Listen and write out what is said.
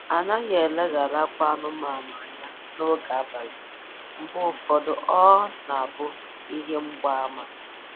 Anaghị eleghara akwa anụmanụ anya n'oge abalị, mgbe ụfọdụ ọ ọ na-abụ ihe mgba ama